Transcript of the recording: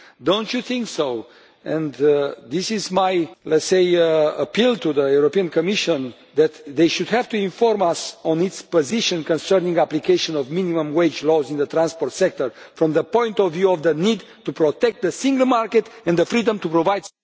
Do you not think and this is, let us say, my appeal to the Commission that it should have to inform us on its position concerning the application of minimum wage laws in the transport sector, from the point of view of the need to protect the single market and the freedom to provide...